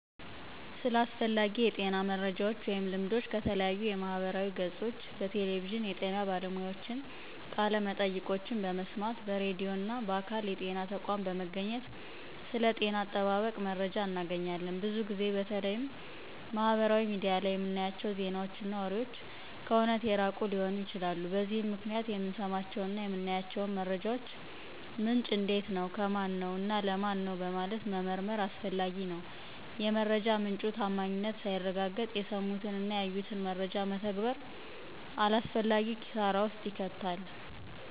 ስለ አስፈላጊ የጤና መረጃወች ወይም ልምዶች ከተለያዩ የማህበራዊ ገፆች፣ በቴሌቪዥን የጤና ባለሙያዎችን ቃለመጠይቆችን በመስማት፣ በራድዩ እና በአካል የጤና ተቋም በመገኘት ስለ ጤና አጠባበቅ መረጃ እናገኛለን። ብዙ ጊዜ በተለይም ማህበራዊ ሚዲያ ላይ የምናያቸው ዜናወች እና ወሬወች ከእውነት የራቁ ሊሆኑ ይችላሉ። በዚህም ምክንያት የምንሰማቸውን እና የምናያቸውን መረጃወች ምንጭ እንዴት ነው፣ ከማነው፣ እና ለማን ነው በማለት መመርመር አስፈላጊ ነው። የመረጃ ምንጩ ታማኝነት ሳይረጋገጥ የሰሙትን እና ያዩትን መረጃ መተግበር አላስፈላጊ ኪሳራ ውስጥ ይከታል።